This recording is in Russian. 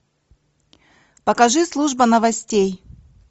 покажи служба новостей